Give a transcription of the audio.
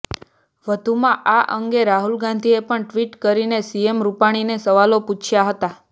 વધુમાં આ અંગે રાહુલ ગાંધી પણ ટ્વિટ કરીને સીએમ રૂપાણીને સવાલો પૂછ્યા હતા